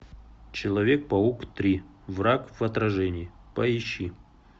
человек паук три враг в отражении поищи